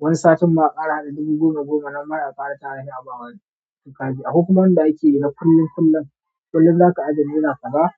Wani satin ma a kara hada dubu goma goma sa a bawa wani akwai kuma wanda ake na kullun kullun kullun zaka ajiye naira kaza.